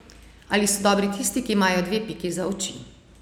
A so dobri tisti, ki imajo dve piki za oči?